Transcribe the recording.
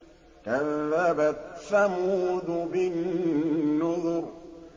كَذَّبَتْ ثَمُودُ بِالنُّذُرِ